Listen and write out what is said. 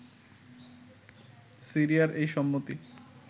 সিরিয়ার এই সম্মতি